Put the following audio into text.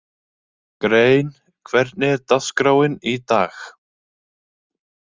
Grein, hvernig er dagskráin í dag?